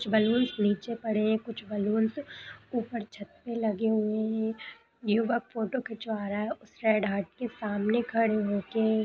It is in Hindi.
कुछ बलूंस नीचे पड़े हैं कुछ बलूंस ऊपर छत पे लगे हुए हैं। युवक फोटो खिचवा रहा है उस रेड हार्ट के सामने खड़े होके।